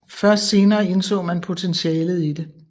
Først senere indså man potentialet i det